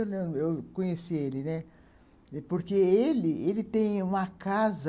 Eu conheci ele, né, porque ele ele tem uma casa